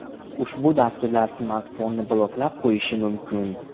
Ushbu dasturlar smartfonni bloklab qo‘yishi mumkin.